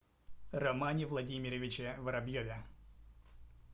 романе владимировиче воробьеве